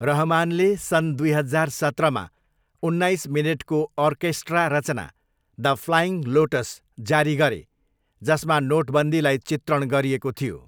रहमानले सन् दुई हजार सत्रमा उन्नाइस मिनेटको आर्केस्ट्रा रचना 'द फ्लाइङ लोटस' जारी गरे जसमा नोटबन्दीलाई चित्रण गरिएको थियो।